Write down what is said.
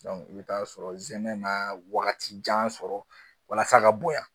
i bɛ taa sɔrɔ zɛmɛ na wagati jan sɔrɔ walasa ka bonya